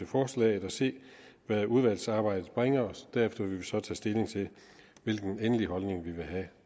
forslaget og se hvad udvalgsarbejdet bringer derefter vil så tage stilling til hvilken endelig holdning vi vil have